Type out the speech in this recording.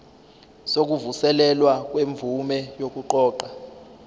sokuvuselelwa kwemvume yokuqoqa